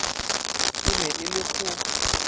e ne e le go